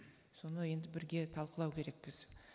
соны енді бірге талқылау керекпіз